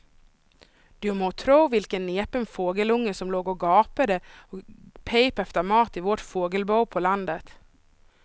Du må tro vilken näpen fågelunge som låg och gapade och pep efter mat i vårt fågelbo på landet.